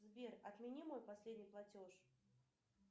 сбер отмени мой последний платеж